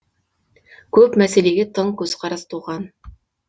көп мәселеге тың көзқарас туған